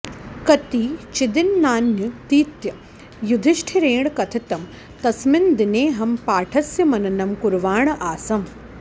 कतिचिद्दिनान्यतीत्य युधिष्ठिरेण कथितं तस्मिन् दिनेऽहं पाठस्य मननं कुर्वाण आसम्